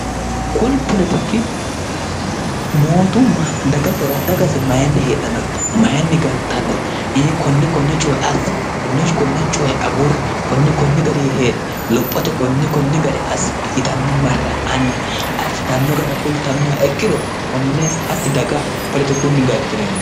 kuni olotikki mootumma dagasira dagasi mayinni heedhannori mayinni galtannori ii konne konne cuhe assi konnehi konne cuhe agurri konni konni gari heedhe lophote konni konni gare asssi yitanni marra anni ayirsitanno gara kultannoha ekkiro konne hatti daga polotikunni galtinono